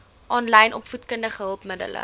aanlyn opvoedkundige hulpmiddele